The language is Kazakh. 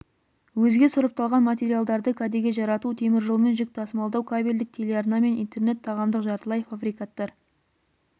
өзге сұрыпталған материалдарды кәдеге жарату теміржолмен жүк тасымалдау кабельдк телеарна мен интернет тағамдық жартылай фабрикаттар